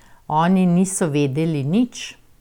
Oni niso vedeli nič.